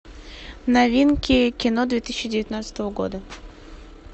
новинки кино две тысячи девятнадцатого года